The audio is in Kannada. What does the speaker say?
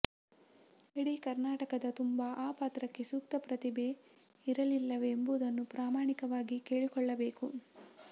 ಇಡೀ ಕರ್ನಾಟಕದ ತುಂಬ ಆ ಪಾತ್ರಕ್ಕೆ ಸೂಕ್ತ ಪ್ರತಿಭೆ ಇರಲಿಲ್ಲವೆ ಎಂಬುದನ್ನು ಪ್ರಾಮಾಣಿಕವಾಗಿ ಕೇಳಿಕೊಳ್ಳಬೇಕು